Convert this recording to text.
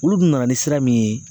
Olu dun nana ni sira min ye